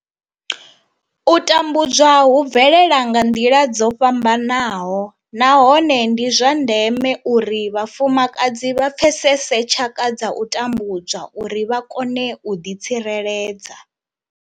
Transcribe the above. U tambudzwa hu bvelela nga nḓila dzo fhambanaho nahone ndi zwa ndeme uri vhafumakadzi vha pfesese tshaka dza u tambudzwa uri vha kone u ḓi tsireledza.